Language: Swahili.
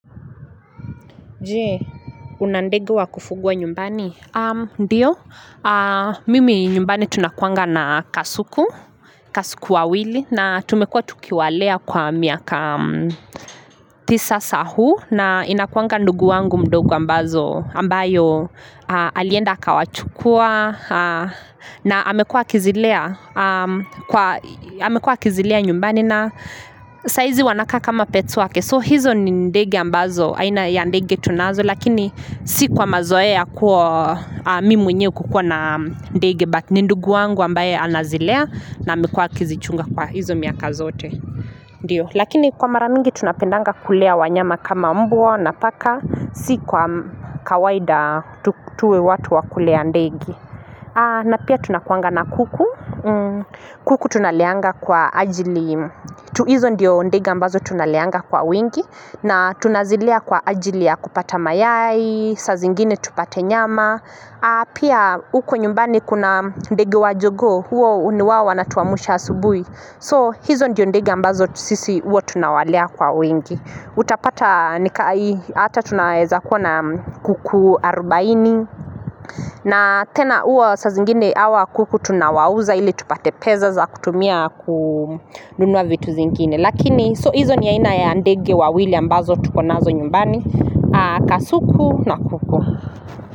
Jee, una ndege wa kufugwa nyumbani? Ndiyo, mimi nyumbani tunakuanga na kasuku, kasuku wawili, na tumekua tukiwalea kwa miaka tisa sahu, na inakuanga ndugu wangu mdogo ambazo ambayo alienda kawachukua, na amekua akizilea nyumbani na saizi wanakaa kama pets wake. So hizo ni ndege ambazo aina ya ndege tunazo lakini si kwa mazoeya yakuwa mi mwenyewe kukua na ndege But ni ndugu wangu ambaye anazilea na amekuwa akizichunga kwa hizo miaka zote ndio, lakini kwa maramingi tunapendanga kulea wanyama kama mbwa na paka si kwa kawaida tuwe watu wa kulea ndege na pia tunakuanga na kuku kuku tunaleanga kwa ajili tu hizo ndio ndege ambazo tunaleanga kwa wingi na tunazilea kwa ajili ya kupata mayai, sa zingine tupate nyama Pia huku nyumbani kuna ndege wa jogoo huo uni wao wanatuamusha asubui So hizo ndio ndege ambazo sisi uo tunawalea kwa wingi Utapata nika hii hata tunaeza kuwa na kuku 40 na tena huwa sa zingine awa kuku tunawauza ili tupate peza za kutumia kununua vitu zingine Lakini so hizo ni aina ya ndege wawili ambazo tukonazo nyumbani Kasuku na kuku.